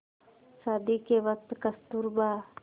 शादी के वक़्त कस्तूरबा